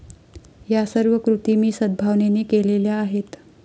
या सर्व कृती मी सदभावनेने केलेल्या आहेत.